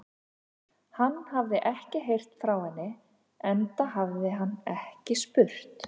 Hann hafði ekkert heyrt frá henni, enda hafði hann ekki spurt.